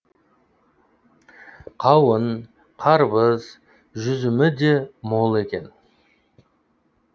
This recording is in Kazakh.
қауын қарбыз жүзімі де мол екен